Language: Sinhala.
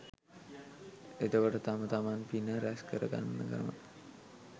එතකොට තම තමන් පින රැස්කර ගන්න ක්‍රමය